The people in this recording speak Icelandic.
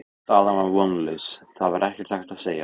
Staðan var vonlaus, það var ekkert hægt að segja.